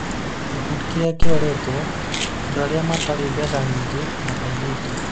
Gĩkundi kĩrĩa kĩroretwo: Andũ arĩa matarĩ mbeca nyingĩ na airĩtu